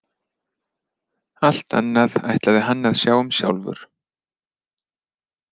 Allt annað ætlaði hann að sjá um sjálfur.